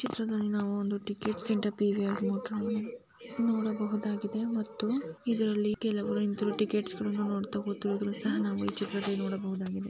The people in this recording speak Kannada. ಚಿತ್ರದಲ್ಲಿ ನಾವು ಒಂದು ಟಿಕೆಟ್ ಮತ್ತು ಇದರಲ್ಲಿ ಕೆಲವು ಟಿಕೆಟ್ಸ್ ಗಳ್ನ ನೋಡಿ ತಗೋತಿರೋ ದೃಶ್ಯನ ನಾವು ಈ ಚಿತ್ರದಲ್ಲಿ ನೋಡಬಹುದು.